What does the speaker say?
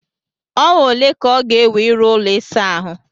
Ọnwa ole ka ọ ga-ewe ịrụ ụlọ ịsa ahụ?